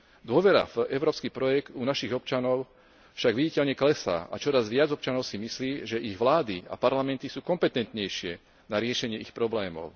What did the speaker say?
Dôvera v európsky projekt u našich občanov však viditeľne klesá a čoraz viac občanov si myslí, že ich vlády a parlamenty sú kompetentnejšie na riešenie ich problémov.